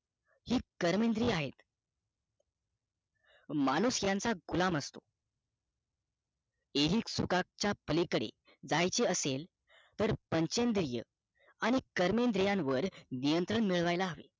हि कर्मेंद्रिय आहे माणूस त्याचा गुलाम असतो ऐहिक सुखांचा पलीकडे जायचे असेल तर पंचेद्रिय आणि कर्मेंद्रिय वर नियंत्रण मिळवायला हवा